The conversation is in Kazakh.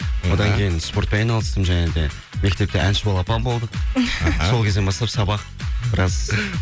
одан кейін спортпен айналыстым және де мектепте әнші балапан болдық сол кезден бастап сабақ біраз